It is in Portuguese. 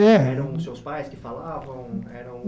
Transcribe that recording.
É Eram os seus pais que falavam?